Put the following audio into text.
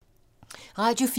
Radio 4